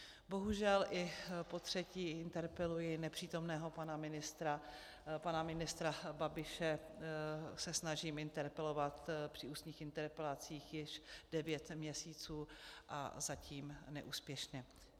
Bohužel i potřetí interpeluji nepřítomného pana ministra, pana ministra Babiše se snažím interpelovat při ústních interpelacích již devět měsíců a zatím neúspěšně.